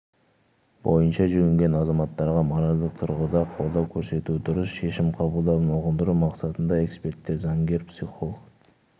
бойынша жүгінген азаматтарға моральдық тұрғыда қолдау көрсету дұрыс шешім қабылдауын ұғындыру мақсатында эксперттер заңгер психолог